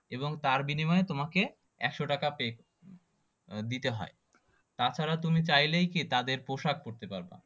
এবং তার বিনিময়ে তোমাকে একশো টাকা pay দিতে হয় তাছাড়া তুমি চাইলেই কি তাদের পোশাক পড়তে পড়বা